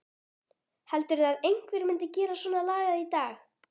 Heldurðu að einhver myndi gera svonalagað í dag?